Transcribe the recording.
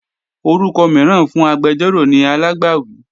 Orúkọ mìíràn fún agbẹjọ́rò ni alágbàwí